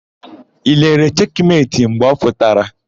I lere Cheki Meti mgbe ọ pụtara?